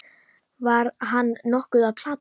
Var hann nokkuð að plata?